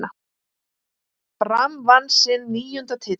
Fram vann sinn níunda titil.